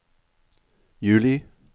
juli